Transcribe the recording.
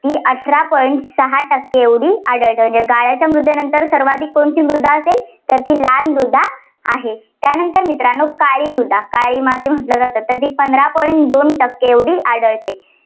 ती अठरा point सहा टक्के एवढी आढळते. म्हणजे गाळाच्या मृदेनंतर सर्वाधिक कोणती मृदा असेल तर ती लाल मृदा आहे. त्यानंतर मित्रांनो काळी मृदा, काळी माती म्हटलं जातं तर ती पंधरा point दोन टक्के एवढी आढळते.